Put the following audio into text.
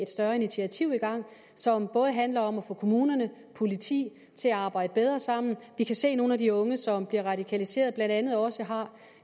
større initiativ i gang som handler om at få kommunerne og politiet til at arbejde bedre sammen vi kan se at nogle af de unge som bliver radikaliseret blandt andet også har